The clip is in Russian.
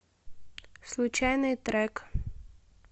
случайный трек